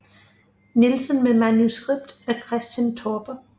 Nielsen med manuskript af Christian Torpe